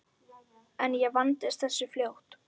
En ég vandist þessu fljótt.